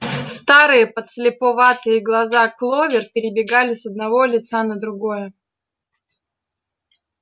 старые подслеповатые глаза кловер перебегали с одного лица на другое